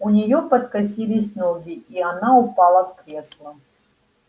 у неё подкосились ноги и она упала в кресло